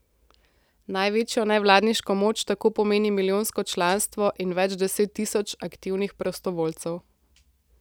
Največjo nevladniško moč tako pomeni milijonsko članstvo in več deset tisoč aktivnih prostovoljcev.